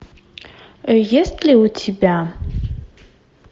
есть ли у тебя